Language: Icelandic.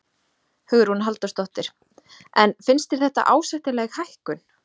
Hugrún Halldórsdóttir: En finnst þér þetta ásættanleg hækkun?